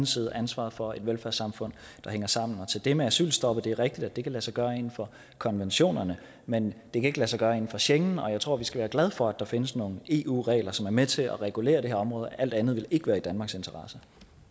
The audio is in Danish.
side og ansvaret for et velfærdssamfund der hænger sammen til det med asylstop at det er rigtigt at det kan lade sig gøre inden for konventionerne men det kan ikke lade sig gøre inden for schengen og jeg tror at vi skal være glade for at der findes nogle eu regler som er med til at regulere det her område alt andet ville ikke være i danmarks interesse